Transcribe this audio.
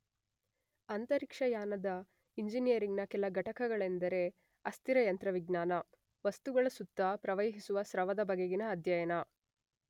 ಅಂತರಿಕ್ಷಯಾನ ಇಂಜಿನಿಯರಿಂಗ್ ನ ಕೆಲ ಘಟಕಗಳೆಂದರೆ, ಅಸ್ಥಿರ ಯಂತ್ರವಿಜ್ಞಾನ, ವಸ್ತುಗಳ ಸುತ್ತ ಪ್ರವಹಿಸುವ ಸ್ರವದ ಬಗೆಗಿನ ಅಧ್ಯಯನ.